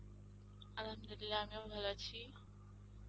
Arbi আমিও ভালো আছি.